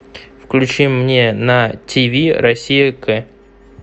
включи мне на тиви россия к